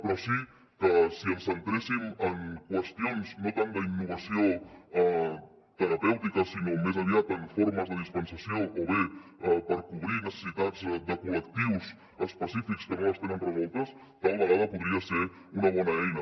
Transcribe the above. però sí que si ens centréssim en qüestions no tant d’innovació terapèutica sinó més aviat en formes de dispensació o bé per cobrir necessitats de col·lectius específics que no les tenen resoltes tal vegada podria ser una bona eina